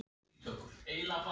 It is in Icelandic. Ertu ánægður með byrjunina?